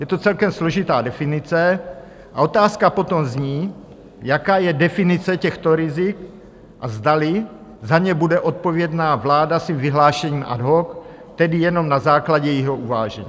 Je to celkem složitá definice a otázka potom zní, jaká je definice těchto rizik a zdali za ně bude odpovědna vláda svým vyhlášením ad hoc, tedy jenom na základě jejího uvážení.